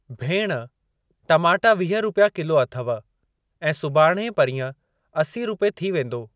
भेण, टमाटा वीह रुपिया किलो अथव ऐं सुभाणे परींहं असी रूपए थी वेंदो।